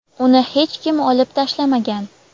uni hech kim olib tashlamagan.